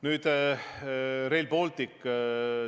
Nüüd Rail Balticust.